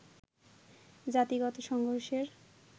জাতিগত সংঘর্ষের